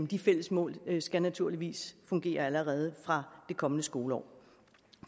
de fælles mål skal naturligvis fungere allerede fra det kommende skoleår